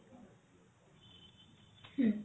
ହୁଁ